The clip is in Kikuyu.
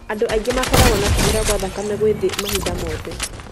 Andũ angĩ makoragwo na kũhũra kwa thakame gwĩ thĩ mahinda mothe.